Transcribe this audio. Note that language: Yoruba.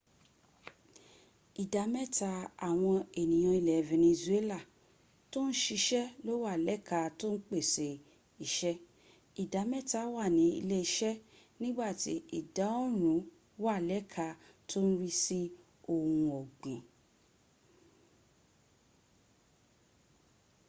ìdá mẹ́ta àwọn ènìyàn ilẹ̀ venezuela tó ń siṣẹ́ ló wà lẹ́ka tó ń pèsè iṣẹ́ ìdá mẹ́ta wà ní ilé- iṣẹ́ nígbàtí ìkọrùn ún wà lẹ́ka tó ń rí sí ohun ọ̀gbìn